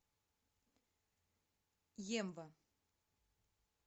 емва